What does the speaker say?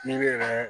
N'i bɛ